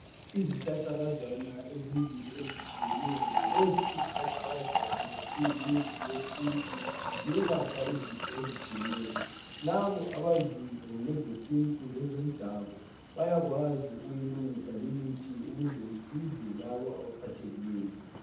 Izihlahlakazana ezimbili ezitshiyeneyo lezi izihlahlakazana ziyimithi yesintu ziyelapha izifo ezitshiyeneyo. Labo abaziyo ngezesintu lezomdabu bayakwazi ukuyilungisa limithi ukuze isize labo abaphathekileyo .